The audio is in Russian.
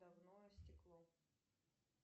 давно истекло